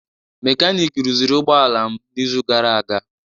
Mekaniki rụziri ụgbọ ala m n'izu gara aga.